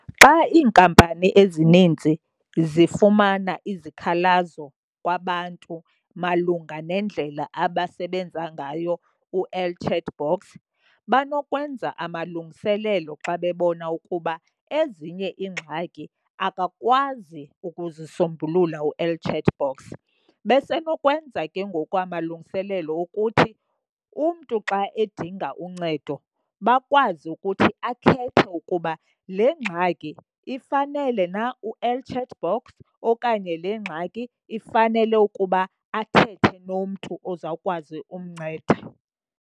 Xa iinkampani ezininzi zifumana izikhalazo kwabantu malunga nendlela abasebenza ngayo u-el chat box banokwenza amalungiselelo xa bebona ukuba ezinye iingxaki akakwazi ukuzisombulula u-el chat box. Basenokwenza ke ngoku amalungiselelo okuthi umntu xa edinga uncedo bakwazi ukuthi akhethe ukuba le ngxaki ifanele na u-el chat box okanye le ngxaki ifanele ukuba athethe nomntu ozawukwazi umnceda.